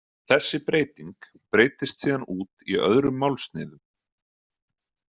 Þessi breyting breiddist síðan út í öðrum málsniðum.